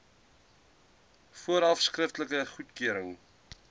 vooraf skriftelike goedkeuring